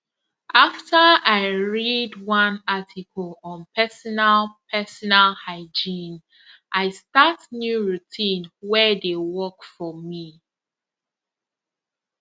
after i read one article on personal personal hygiene i start new routine wey dey work for me